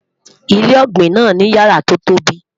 ilé ògbìn nà ní yàrá to tóbi